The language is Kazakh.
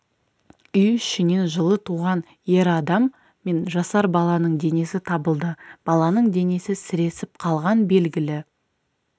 үй ішінен жылы туған ер адам мен жасар баланың денесі табылды баланың денесі сіресіп қалған белгілі